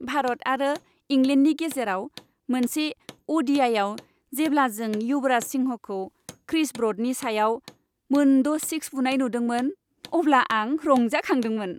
भारत आरो इंलेन्डनि गेजेराव मोनसे अ'डिआइआव जेब्ला जों युवराज सिंहखौ क्रिस ब्र'डनि सायाव मोनद' सिक्स बुनाय नुदोंमोन, अब्ला आं रंजाखांदोंमोन।